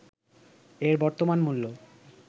এর বর্তমান মূল্য